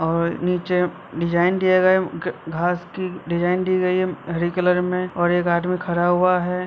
और निचे डिज़ाइन दिया गया-- घास की डिज़ाइन दी गई है हरी कलर में और एक आदमी खडा हुआ है।